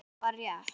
Og það var rétt.